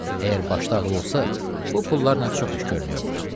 Əgər başda ağıl olsa, bu pullarla çox iş görmək olar.